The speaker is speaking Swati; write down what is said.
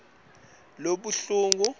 kulelibhuku